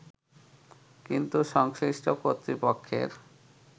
কিন্তু সংশ্লিষ্ট কর্তৃপক্ষের